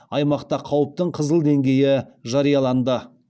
аймақта қауіптің қызыл деңгейі жарияланды